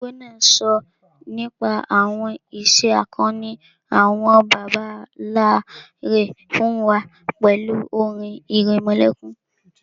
Ìyá arúgbó náà sọ nípa àwọn ìṣe akọni àwọn bàbá nlá rẹ̀ fún wa pẹ̀lú orin ìrẹmọlẹ́kún